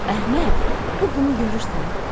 Əhməd, bu qumu görürsən?